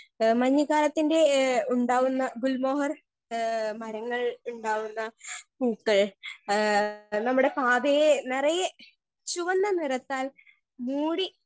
Speaker 1 ഏ മഞ്ഞ് കാലത്തിന്റെ ഏ ഉണ്ടാകുന്ന ഗുൽമോഹർ ഏ മരങ്ങൾ ഉണ്ടാകുന്ന ഏ നമ്മടെ പാതയേ നെറയേ ചുവന്ന നിറത്താൽ മൂടി.